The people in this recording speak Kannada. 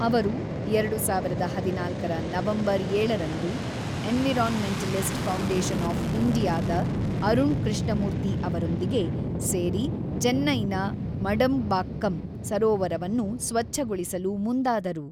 ಅವರು ಎರಡು ಸಾವಿರದ ಹದಿನಾಲ್ಕರ ನವೆಂಬರ್ ಏಳರಂದು ಎನ್ವಿರಾನ್ಮೆಂಟಲಿಸ್ಟ್ ಫೌಂಡೇಶನ್ ಆಫ್ ಇಂಡಿಯಾದ ಅರುಣ್ ಕೃಷ್ಣಮೂರ್ತಿ ಅವರೊಂದಿಗೆ ಸೇರಿ ಚೆನ್ನೈನ ಮಡಂಬಾಕ್ಕಂ ಸರೋವರವನ್ನು ಸ್ವಚ್ಛಗೊಳಿಸಲು ಮುಂದಾದರು.